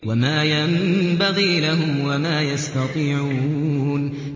وَمَا يَنبَغِي لَهُمْ وَمَا يَسْتَطِيعُونَ